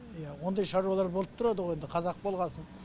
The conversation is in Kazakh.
иә ондай шаруалар болып тұрады ғой енді қазақ болғасын